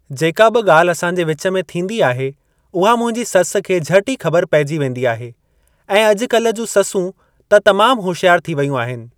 जेका बि ॻाल्हि असांजे विचु में थींदी आहे उहा मुंहिंजी ससु खे झटि ई ख़बर पेइजी वेंदी आहे ऐं अॼु-काल्हि जूं ससूं त तमाम होशियार थी वेयूं आहिनि।